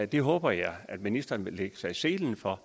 det håber jeg ministeren vil lægge sig i selen for